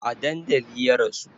A dandali ya rasu